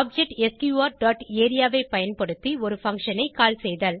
object S Q R dot area ஐ பயன்படுத்தி ஒரு பங்ஷன் ஐ கால் செய்தல்